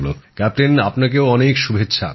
captain আপনাকেও অনেক শুভেচ্ছা